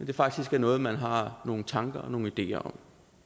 det faktisk er noget man har nogle tanker og nogle ideer om